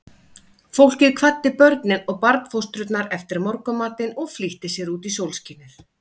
Fólkið kvaddi börnin og barnfóstrurnar eftir morgunmatinn og flýtti sér út í sólskinið.